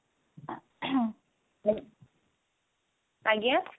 ଆଜ୍ଞା